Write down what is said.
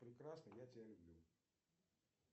прекрасно я тебя люблю